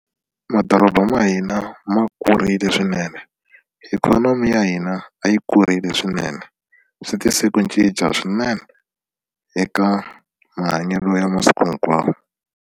Madoroba ma hina ma kurile swinene ikhonomi ya hina a yi kurile swinene swi tise ku cinca swinene eka mahanyelo ya masiku hinkwawo.